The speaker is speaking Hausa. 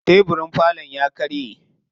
Tebirin falon ya karye.